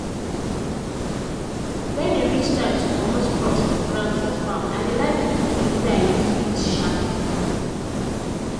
when e reach time to comot crops from ground for farm i dey like use tools wey i use heat sharpen.